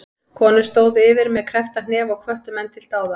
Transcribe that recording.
Konur stóðu yfir með kreppta hnefa og hvöttu menn til dáða.